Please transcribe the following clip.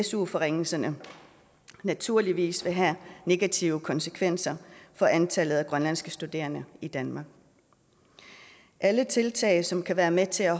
su forringelserne naturligvis vil have negative konsekvenser for antallet af grønlandske studerende i danmark alle tiltag som kan være med til at